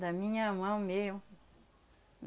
Da minha mão mesmo.